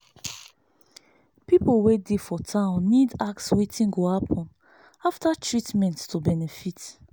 people wey dey for town need ask wetin go happen after treatment to benefit.